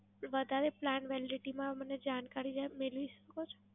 વધારે Plan Validity માં મને જાણકારી જરા મેળવી શકો છો?